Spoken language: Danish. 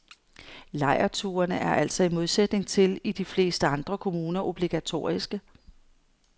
Lejrturene er altså i modsætning til i de fleste andre kommuner obligatoriske.